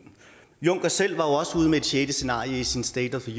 juncker selv var også ude med et sjette scenarie i sin state